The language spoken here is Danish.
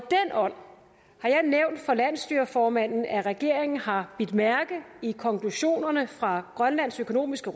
nævnt for landsstyreformanden at regeringen har bidt mærke i konklusionerne fra grønlands økonomiske